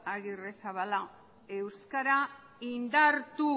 agirrezabala euskara indartu